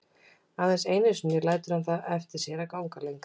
Aðeins einu sinni lætur hann það eftir sér að ganga lengra.